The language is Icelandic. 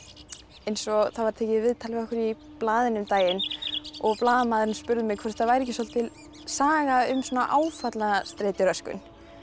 eins og það var tekið viðtal við okkur í blaðinu um daginn og blaðamaðurinn spurði mig hvort það væri ekki svolítil saga um áfallastreituröskun